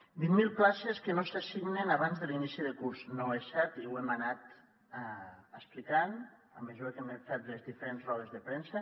vint mil places que no s’assignen abans de l’inici de curs no és cert i ho hem anat explicant a mesura que hem anat fet les diferents rodes de premsa